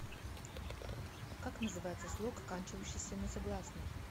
как называется слог оканчивающийся на согласный